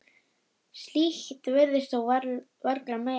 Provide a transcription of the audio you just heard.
Slíkt virðist þó varla mega.